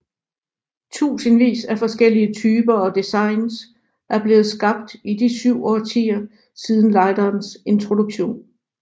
Tusindvis af forskellige typer og designs er blevet skabt i de 7 årtier siden lighterens introduktion